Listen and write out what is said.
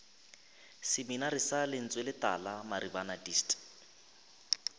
seminari sa lentsweletala maribana dist